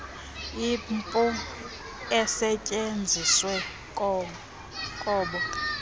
imipu esetyenziswe kobo